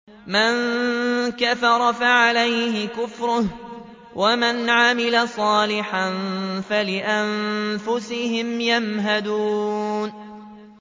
مَن كَفَرَ فَعَلَيْهِ كُفْرُهُ ۖ وَمَنْ عَمِلَ صَالِحًا فَلِأَنفُسِهِمْ يَمْهَدُونَ